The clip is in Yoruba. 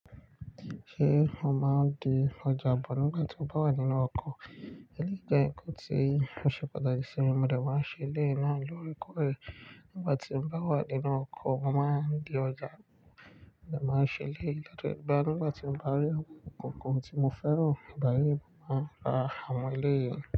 Ṣé o máa ń di ọjà bọ̀ nígbà tí o bá wà nínú ọkọ̀? Èyí jẹ́ nkan tí ò ṣe pàtàkì sí mi, mo dà wá ṣe ilé náà lórekọ́rẹ. Nígbà tí mo bá wà nínú ọkọ̀, mo máa ń di ọjà, mo de máa ń ṣe iléyi Lẹ́ẹ̀gbẹ́, nígbà tí mo bá rí ohun ìkòkò tí mo fẹ́ rí, báyìí mo máa ra áwon eleyi.